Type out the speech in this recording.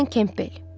Alan Kempbel.